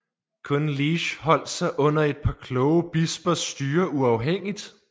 Kun Liège holdt sig under et par kloge bispers styre uafhængigt